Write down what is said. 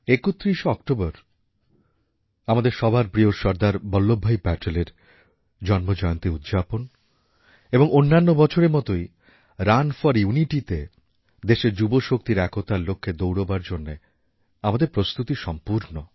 ৩১ October আমাদের সবার প্রিয় সর্দার বল্লভভাই পটেলের জন্মজয়ন্তী উদযাপন এবং অন্যান্য বছরের মতোই রান ফর ইউনিটিতে দেশের যুবশক্তির একতার লক্ষ্যে দৌড়বার জন্যে আমাদের প্রস্তুতি সম্পূর্ণ